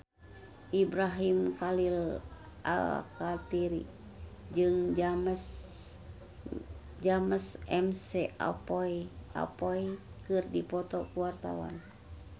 Ibrahim Khalil Alkatiri jeung James McAvoy keur dipoto ku wartawan